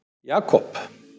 Jakob